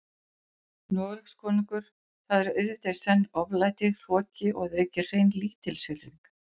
Noregskonungur, það er auðvitað í senn oflæti, hroki og að auki hrein lítilsvirðing.